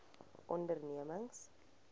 ondernemings